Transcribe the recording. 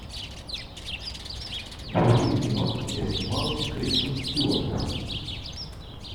вруби кино где снималась кристен стюарт